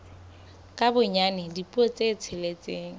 ka bonyane dipuo tse tsheletseng